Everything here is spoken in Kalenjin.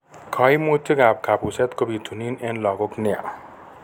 kaimtukikap kapuset ko bitunt en lagok nia.